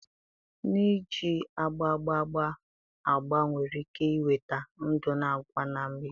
N'iji agba agba agba, agba nwere ike iweta ndụ na àgwà na mgbidi